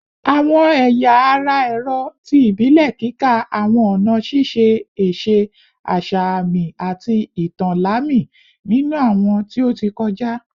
Awọn ẹya ara ẹrọ ti ibile kika awọn ọna šiše ese asa aami ati itan lami ninu awọn ti o ti kọja